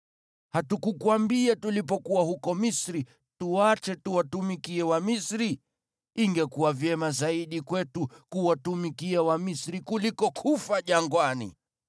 Hatukukuambia tulipokuwa huko Misri, tuache tuwatumikie Wamisri? Ingekuwa vyema zaidi kwetu kuwatumikia Wamisri kuliko kufa jangwani!”